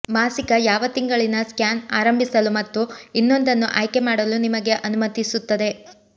ಮಾಸಿಕ ಯಾವ ತಿಂಗಳಿನ ಸ್ಕ್ಯಾನ್ ಆರಂಭಿಸಲು ಮತ್ತು ಇನ್ನೊಂದನ್ನು ಆಯ್ಕೆ ಮಾಡಲು ನಿಮಗೆ ಅನುಮತಿಸುತ್ತದೆ